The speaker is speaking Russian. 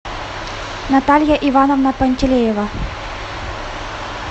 наталья ивановна пантелеева